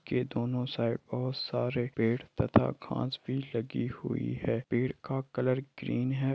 के दोनों साइड पेड़ तथा घास भी लगी हुई हए पेड़ का कलर ग्रीन है।